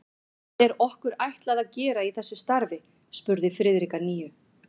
Hvað er okkur ætlað að gera í þessu starfi? spurði Friðrik að nýju.